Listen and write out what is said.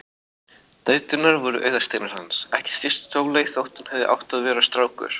Dæturnar voru augasteinar hans, ekki síst Sóley þótt hún hefði átt að vera strákur.